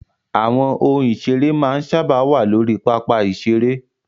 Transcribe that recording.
Àwọn ohun ìseré máa ń sáábà wà lórí pápá ìseré